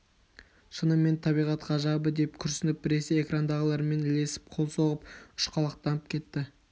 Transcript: шынымен табиғат ғажабы деп күрсініп біресе экрандағылармен ілесіп қол соғып ұшқалақтанып кетті